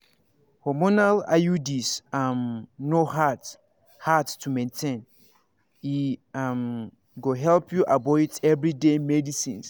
hormonal iuds um no hard hard to maintain e um go help you avoid everyday medicines.